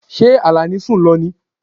Ṣé Alani sun lọ ní?